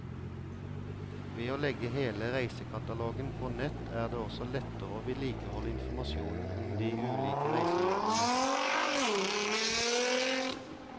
Ved å legge hele reisekatalogen på nett er det også lettere å vedlikeholde informasjonen om de ulike reisemålene.